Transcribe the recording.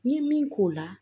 N'i ye min k'o la